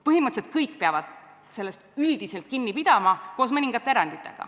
Põhimõtteliselt kõik peavad sellest üldiselt kinni pidama, kuid on mõningad erandid.